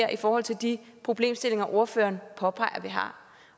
i forhold til de problemstillinger ordføreren påpeger at vi har